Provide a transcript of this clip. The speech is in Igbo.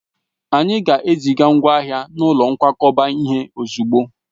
Anyị ga-eziga ngwa ahịa n'ụlọ nkwakọba ihe ozugbo